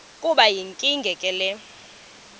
kube yinkinge ke